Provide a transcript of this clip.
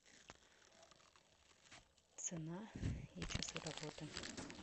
цена и часы работы